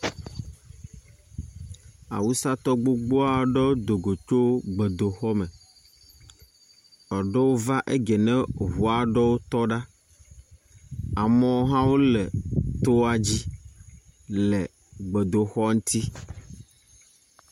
Awusatɔ gbogbo aɖewo do go tso gbedoxɔ me. Eɖewo va egie ne ŋua tɔ ɖa. Amewo hã le toa dzi le gbedoaxɔa ŋuti.